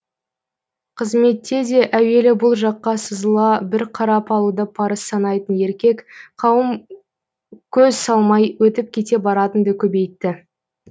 қызметте де әуелі бұл жаққа сызыла бір қарап алуды парыз санайтын еркек қауым көз салмай өтіп кете баратын ды көбейтті